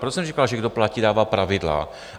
Proto jsem říkal, že kdo platí, dává pravidla.